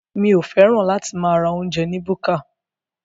Mi ò fẹ́ràn láti máa ra oúnjẹ ni búkà.